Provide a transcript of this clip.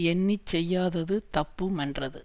எண்ணி செய்யாதது தப்பு மென்றது